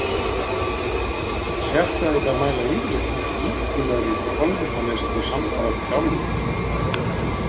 Sérfræðingar mæla yfirleitt með ríkulegri kolvetnaneyslu samfara þjálfun.